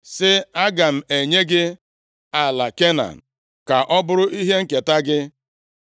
Sị, “Aga m enye gị ala Kenan ka ọ bụrụ ihe nketa gị.”